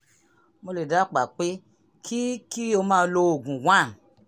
mo lè dábàá pé kí kí o máa lo oògùn 1